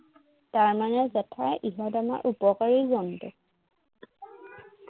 তাৰমানে জেঠাই ইহঁত আমাৰ উপকাৰী জন্তু